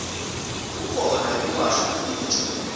kukhona yekuwasha titja